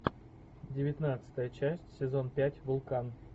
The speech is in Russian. девятнадцатая часть сезон пять вулкан